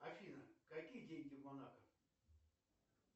афина какие деньги в монако